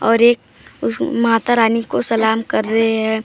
और एक माता रानी को सलाम कर रहे हैं।